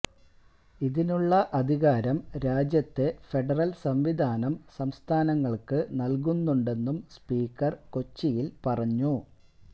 ഇതിനുള്ള അധികാരം രാജ്യത്തെ ഫെഡറൽ സംവിധാനം സംസ്ഥാനങ്ങൾക്ക് നൽകുന്നുണ്ടെന്നും സ്പീക്കർ കൊച്ചിയിൽ പറഞ്ഞു